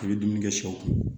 I bɛ dumuni kɛ sɛw